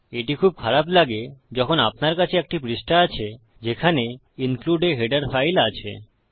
এটি খুব খারাপ লাগে যখন আপনার কাছে একটি পৃষ্ঠা আছে যেখানে ইনক্লুড a হেডার ফাইল আছে